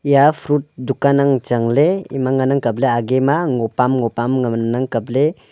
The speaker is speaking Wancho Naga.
eya fruit dukan ang changley ema ngana kapley age ngopam ngopam ngan kapley.